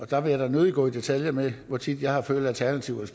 der vil jeg da nødig gå i detaljer med hvor tit jeg har følt at alternativet